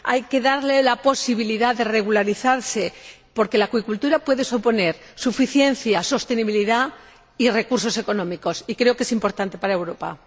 hay que darle la posibilidad de regularizarse, porque la acuicultura puede suponer suficiencia, sostenibilidad y recursos económicos, y creo que es importante para Europa.